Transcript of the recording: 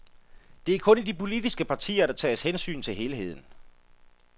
Det er kun i de politiske partier, der tages hensyn til helheden.